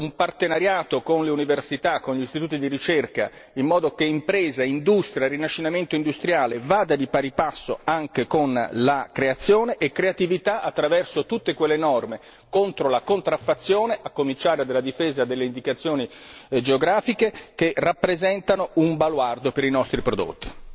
L'innovazione va difesa attraverso un partenariato con le università e con gli istituti di ricerca, in modo che impresa, industria e rinascita industriale vadano di pari passo anche con la creazione e la creatività, attraverso tutte quelle norme contro la contraffazione, a cominciare dalla difesa delle indicazioni geografiche, che rappresentano un baluardo per i nostri prodotti.